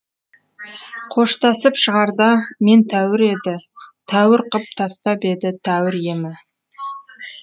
қоштасып шығарда мен тәуір еді тәуір қып тастап еді тәуір емі